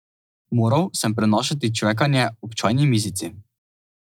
Moral sem prenašati čvekanje ob čajni mizici.